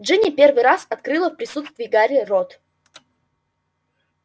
джинни первый раз открыла в присутствии гарри рот